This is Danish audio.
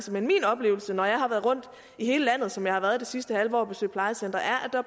men min oplevelse når jeg har været rundt i hele landet som jeg har været det sidste halve år og besøgt plejecentre